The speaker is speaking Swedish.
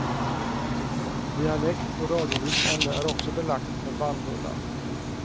Dialekt och radiolyssnande är också belagt med bannbulla.